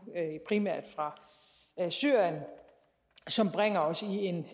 primært fra syrien som bringer os